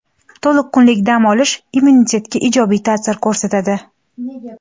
To‘liq kunlik dam olish immunitetga ijobiy ta’sir ko‘rsatadi.